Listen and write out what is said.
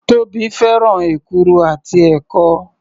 Tóbi fẹ́ràn èkuru àti ẹ̀kọ.